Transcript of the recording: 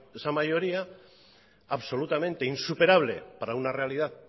esa mayoría absolutamente insuperable para una realidad